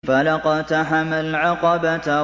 فَلَا اقْتَحَمَ الْعَقَبَةَ